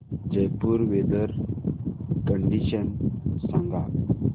Jaipur weather condition सांगा